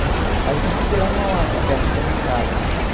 Aí, eu consegui lá em Mauá, que é perto da minha casa.